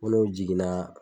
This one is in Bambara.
Fo n'o jiginna.